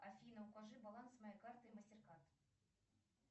афина укажи баланс моей карты мастеркард